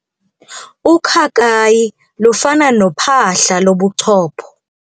Ukhakayi lufana nophahla lobuchopho.